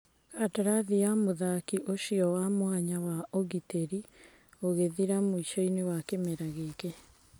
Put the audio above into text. Kandarathi ya mũthaki ũcio wa mwanya wa ũgitĩri ĩgũthira mũicoinĩ wa kĩmera gĩkĩ.